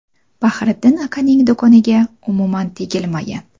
Bahriddin akaning do‘koniga umuman tegilmagan.